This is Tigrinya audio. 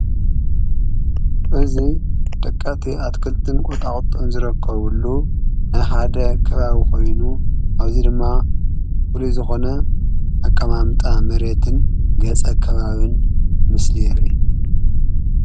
እዙይ ደቃቲ ኣትክልትን ቈጣቕጡን ዝረከቡሉ ናይሓደ ከባቢ ኾይኑ ኣብዙይ ድማ ዂሉ ዝኾነ ኣቀማምጣ መሬትን ገጸ ከባብን ምስሊየርኢ።